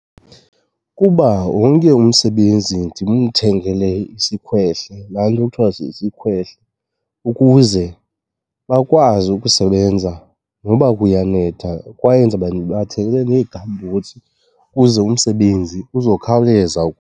Kuba wonke umsebenzi ndimthengele isikhwehle, laa nto kuthiwa sisikhwehle, ukuze bakwazi ukusebenza noba kuyanetha kwaye ndizobe ndibathengele nee-gumboots ukuze umsebenzi uzokhawuleza .